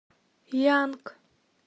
янг